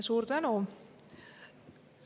Suur tänu!